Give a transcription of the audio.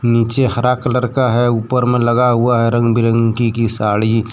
नीचे हरा कलर का है ऊपर में लगा हुआ है रंग बिरंगी की साड़ी।